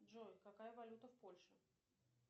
джой какая валюта в польше